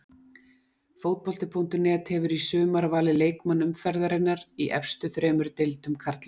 Fótbolti.net hefur í sumar valið leikmann umferðarinnar í efstu þremur deildum karla.